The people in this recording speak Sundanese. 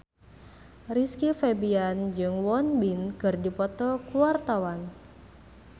Rizky Febian jeung Won Bin keur dipoto ku wartawan